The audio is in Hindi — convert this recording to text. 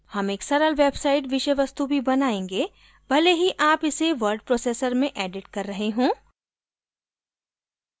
हम एक सरल website विषय वस्तु भी बनायेंगे भले ही आप इसे word processor में एडिट कर रहे हों